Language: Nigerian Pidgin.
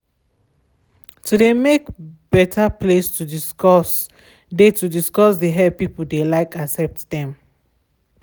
to de make better place to discuss de to discuss de help people de like de accept dem.